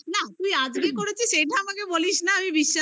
না তুই আজকে করেছিস এইটা আমাকে বলিস না আমি